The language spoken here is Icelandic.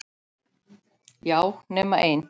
Já, nema ein.